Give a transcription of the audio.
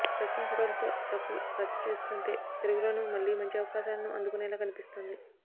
ప్రస్తుతం ఫొటోలతో రకుల్ రచ్చ చూస్తుంటే తెలుగులోనూ మళ్లీ మంచి అవకాశాలను అందుకునేలా కనిపిస్తోంది